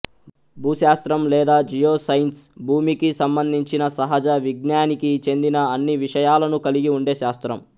భూశాస్త్రం లేదా geoscience భూమికి సంబంధించిన సహజ విజ్ఞానికి చెందిన అన్ని విషయాలను కలిగి ఉండే శాస్త్రం